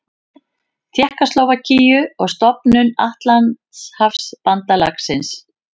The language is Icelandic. Tékkóslóvakíu og stofnun Atlantshafsbandalagsins.